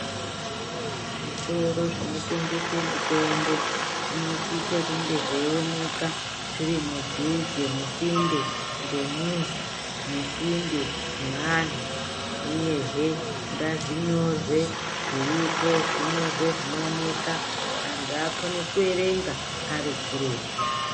Zvitoro zvinotengese mitombo, zvinosise kunge zveioneka, zviri mudhuze, musinde ngemizi, musinde neanhu ,uyehe ngazvinyorwe zviripo, zvinyorwe zvinooneka, antu akone kuerenga ari kuretu.